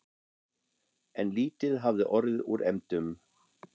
En lítið hafði orðið úr efndum.